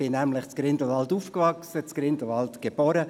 Ich bin nämlich in Grindelwald geboren und aufgewachsen.